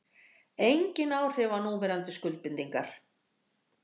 Engin áhrif á núverandi skuldbindingar